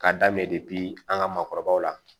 K'a daminɛ an ka maakɔrɔbaw la